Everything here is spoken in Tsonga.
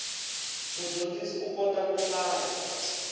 mudyondzi u kota ku hlaya